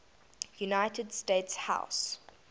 united states house